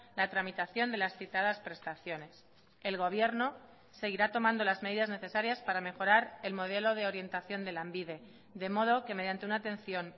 la tramitación de las citadas prestaciones el gobierno seguirá tomando las medidas necesarias para mejorar el modelo de orientación de lanbide de modo que mediante una atención